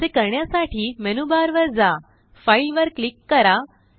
असे करण्यासाठीमेनू बार वर जा फाइल वर क्लिक करा